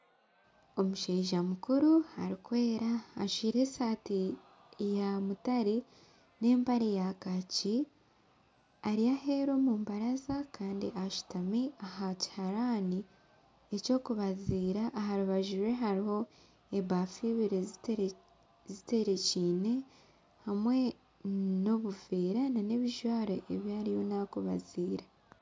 Omushaija mukuru arikwera ajwaire esaati yamutare nempare ya kaaki Ari aheeru omumbaraza Kandi ashutami aha kiharani ekyokubaziira aha rubaju rwe hariho embafu ibiri zitekyereine obumwe nobuveera nebijwaro ebi ariyo naza kubaziira